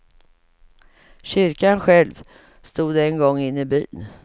Kyrkan själv stod en gång inne i byn.